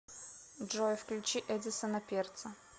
джой включи эдисона перца